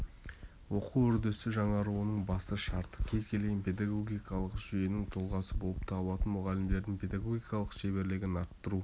оқу үрдісі жаңаруының басты шарты кез келген педагогикалық жүйенің тұлғасы болып табылатын мұғалімдердің педагогикалық шеберлігін арттыру